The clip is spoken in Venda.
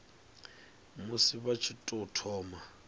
musi vha tshi tou thoma